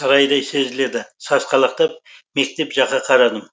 сарайдай сезіледі сасқалақтап мектеп жаққа қарадым